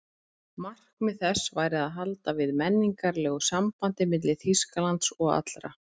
Markmið þess væri að halda við menningarlegu sambandi milli Þýskalands og allra